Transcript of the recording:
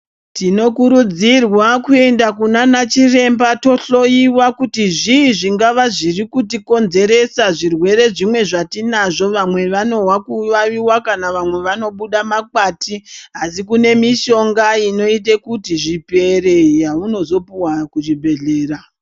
Tino kurudzirwa kuenda kunana chiremba to hloyiwa kuti zvi zvingava zviri kuti konzeresa zvirwere zvimwe zvati nazvo vamwe vanohwa ku vaviwa kana vamwe vano buda makwati asi kune mishonga inoite kuti zvipere yauno zopuhwa ku zvibhedhlera.